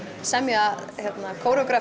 semja